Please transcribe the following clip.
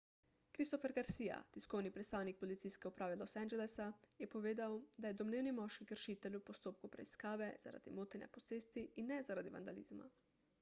christopher garcia tiskovni predstavnik policijske uprave los angelesa je povedal da je domnevni moški kršitelj v postopku preiskave zaradi motenja posesti in ne zaradi vandalizma